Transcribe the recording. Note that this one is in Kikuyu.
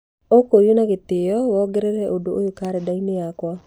ũkũũrio na gĩtĩo wongerere ũndũ ũyũ karenda-inĩ yakwa